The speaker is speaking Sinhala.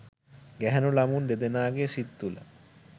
ගැහැණු ළමුන් දෙදෙනාගේ සිත් තුල